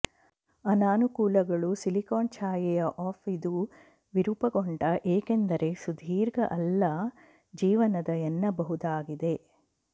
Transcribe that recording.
ಅನಾನುಕೂಲಗಳು ಸಿಲಿಕಾನ್ ಛಾಯೆಯ ಆಫ್ ಇದು ವಿರೂಪಗೊಂಡ ಏಕೆಂದರೆ ಸುದೀರ್ಘ ಅಲ್ಲ ಜೀವನದ ಎನ್ನಬಹುದಾಗಿದೆ